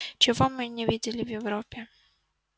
чего мы не видели в европе